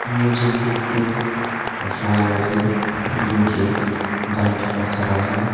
M S jenty steel la flyer ase blue gate bike duita khara ase.